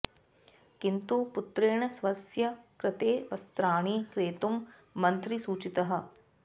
किन्तु पुत्रेण स्वस्य कृते वस्त्राणि क्रेतुं मन्त्री सूचितः